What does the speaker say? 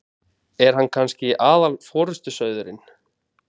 Er hann kannski aðal forystusauðurinn?